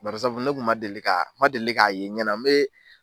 Brisabu ne tun ma deli, ma deli k'a ye ɲɛ na!